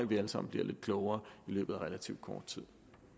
vi alle sammen bliver lidt klogere i løbet af relativt kort tid